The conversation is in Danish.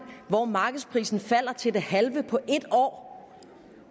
hvor markedsprisen falder til det halve på et år